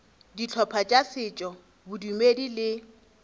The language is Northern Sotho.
dihlopha tša setšo bodumedi le